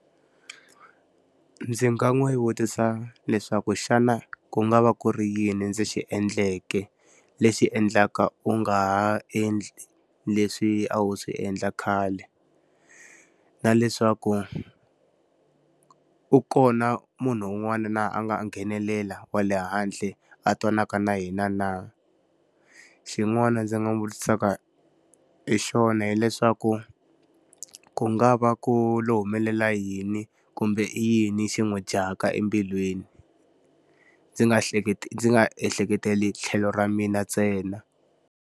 Ndzi nga n'wi vutisa leswaku xana ku nga va ku ri yini ndzi xi endleke lexi endlaka u nga ha endli leswi a wu swi endla khale? Na leswaku u kona munhu un'wana na a nga nghenelela wa le handle a twanaka na yena na? Xin'wana ndzi nga n'wi vutisaka hi xona hileswaku, ku nga va ku lo humelela yini kumbe i yini xi n'wi dyaka embilwini? Ndzi nga hleketi ndzi nga ehleketeleli tlhelo ra mina ntsena.